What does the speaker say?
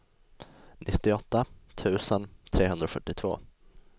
nittioåtta tusen trehundrafyrtiotvå